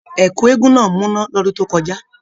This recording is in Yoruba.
Ẹkú eégún náà múná l'ọdun to kọjá.